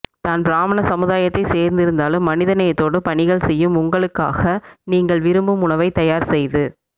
தான் பிராமண சமுதாயத்தை சேர்ந்திருந்தாலும் மனிதநேயத்தோடு பணிகள் செய்யும் உங்களுக்காக நீங்கள் விரும்பும் உணவைத் தயார் செய்து